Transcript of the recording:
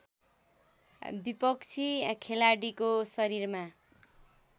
विपक्षी खेलाडीको शरीरमा